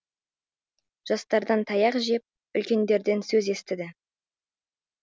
жастардан таяқ жеп үлкендерден сөз естіді